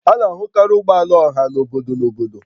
A na-ahụkarị ụgbọ ala ọha na obodo na obodo